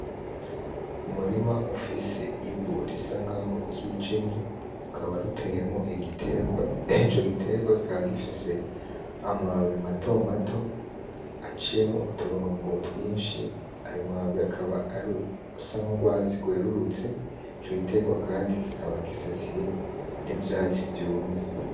Umurima ufise ivu risa nkaho ryijimye rikaba riteyemwo igiterwa ico giterwa kikaba gifise amababi matomato aciyemwo uturongo twishi ayo mababi akaba asa n’urwatsi rwerurutse ico giterwa kandi kikaba gisasiye n’ivyatsi vyumye.